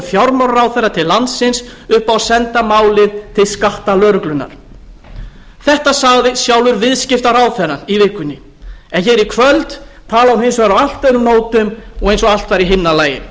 fjármálaráðherra til landsins upp á að senda málið til skattalögreglunnar þetta sagði sjálfur viðskiptaráðherra í vikunni en hér í kvöld talar hún hins vegar á allt öðrum nótum og eins og allt sé í himnalagi